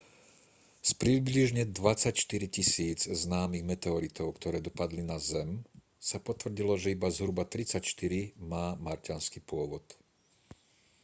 z približne 24 000 známych meteoritov ktoré dopadli na zem sa potvrdilo že iba zhruba 34 má marťanský pôvod